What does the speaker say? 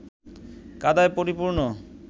কাদায় পরিপূর্ণ